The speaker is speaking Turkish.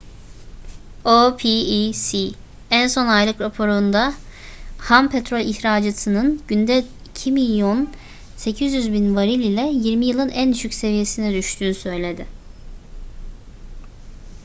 opec en son aylık raporunda ham petrol ihracatının günde 2,8 milyon varil ile yirmi yılın en düşük seviyesine düştüğünü söyledi